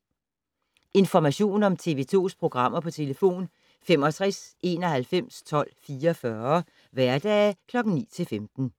Information om TV 2's programmer: 65 91 12 44, hverdage 9-15.